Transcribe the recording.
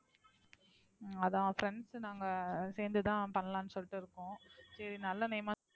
அஹ் அதான் friends நாங்க சேர்ந்துதான் பண்ணலாம்னு சொல்லிட்டு இருக்கோம். சரி நல்ல name ஆ,